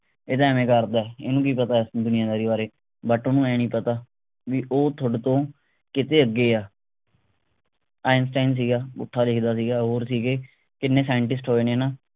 ਇਹ ਤਾਂ ਐਂਵੇਂ ਕਰਦਾ ਇਹਨੂੰ ਕਿ ਪਤਾ ਦੁਨੀਆਂ ਦਾਰੀ ਬਾਰੇ but ਓਹਨੂੰ ਆਏਂ ਨਹੀਂ ਪਤਾ ਵੀ ਉਹ ਥੋਡੇ ਤੋਂ ਕਿਤੇ ਅੱਗੇ ਆ ਆਈਨਸਟਾਈਨ ਸੀਗਾ ਪੁੱਠਾ ਲਿਖਦਾ ਸੀਗਾ ਹੋਰ ਸੀਗੇ ਕਿੰਨੀ scientist ਹੋਏ ਨੇ ਨਾ